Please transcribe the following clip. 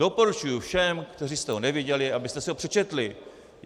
Doporučuji všem, kteří jste ho neviděli, abyste si ho přečetli.